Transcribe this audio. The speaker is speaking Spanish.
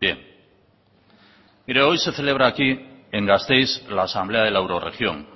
bien mire hoy se celebra aquí en gasteiz la asamblea de la eurorregión